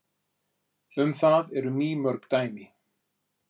Um það eru mýmörg dæmi.